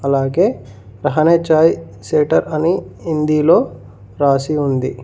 అలాగే రహనే చాయ్ సెటర్ అని హిందీలో రాసి ఉంది.